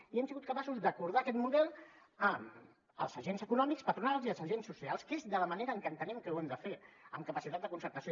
i hem sigut capaços d’acordar aquest model amb els agents econòmics patronals i els agents socials que és de la manera que entenem que ho hem der fer amb capacitat de concertació